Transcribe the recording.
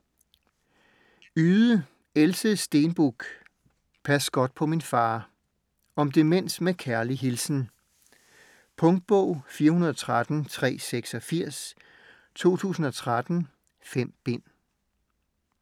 Yde, Else Steenbuch: Pas godt på min far Om demens med kærlig hilsen. Punktbog 413386 2013. 5 bind.